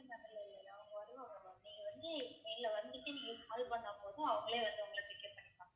இல்ல ma'am இல்ல இல்ல இல்ல ma'am அவங்க வருவாங்க ma'am நீங்க வந்து நேர்ல வந்துட்டு நீங்க call பண்ணா போதும் அவங்களே வந்து ஒங்கள pick up பண்ணிப்பாங்க